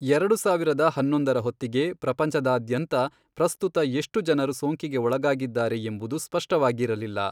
ಎರಡು ಸಾವಿರದ ಹನ್ನೊಂದರ ಹೊತ್ತಿಗೆ, ಪ್ರಪಂಚದಾದ್ಯಂತ ಪ್ರಸ್ತುತ ಎಷ್ಟು ಜನರು ಸೋಂಕಿಗೆ ಒಳಗಾಗಿದ್ದಾರೆ ಎಂಬುದು ಸ್ಪಷ್ಟವಾಗಿರಲಿಲ್ಲ.